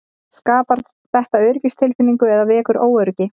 Skapar þetta öryggistilfinningu eða vekur óöryggi?